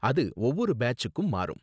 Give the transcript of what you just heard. அது ஒவ்வொரு பேட்ச்சுக்கும் மாறும்